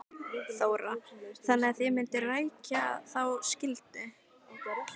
Þóra: Þannig að þið mynduð rækja þá skyldu?